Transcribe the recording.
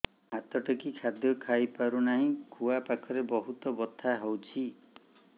ମୁ ହାତ ଟେକି ଖାଦ୍ୟ ଖାଇପାରୁନାହିଁ ଖୁଆ ପାଖରେ ବହୁତ ବଥା ହଉଚି